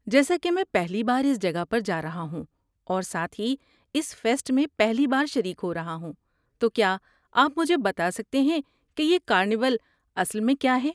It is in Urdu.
جیسا کہ میں پہلی بار اس جگہ پر جا رہا ہوں اور ساتھ ہی اس فیسٹ میں میں پہلی بار شریک ہو رہا ہوں، تو کیا آپ مجھے بتا سکتے ہیں کہ یہ کارنیول اصل میں کیا ہے؟